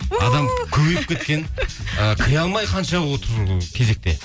адам көбейіп кеткен ы кіре алмай қанша отыр кезекте